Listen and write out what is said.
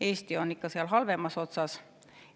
Eesti on ikka seal halvemas otsas.